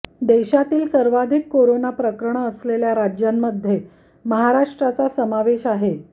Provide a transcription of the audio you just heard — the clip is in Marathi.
देशातील सर्वाधिक कोरोना प्रकरणं असलेल्या राज्यांमध्ये महाराष्ट्राचा समावेश आहे